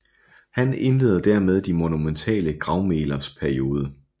Han indleder dermed de monumentale gravmælers periode